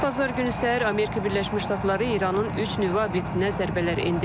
Bazar günü səhər Amerika Birləşmiş Ştatları İranın üç nüvə obyektinə zərbələr endirib.